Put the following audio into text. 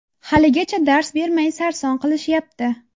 Haligacha dars bermay sarson qilishyapti.